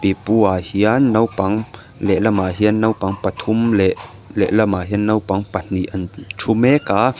pipuah hian naupang lehlamah hian naupang pathum leh lehlamah hian naupang pahnih an thu mek a--